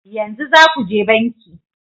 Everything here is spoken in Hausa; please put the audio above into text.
Yanzu za ku je banki